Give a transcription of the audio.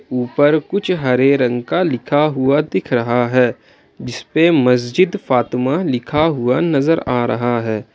ऊपर कुछ हरे रंग का लिखा हुआ दिख रहा है जिस पे मस्जिद फातिमा लिखा हुआ नजर आ रहा है।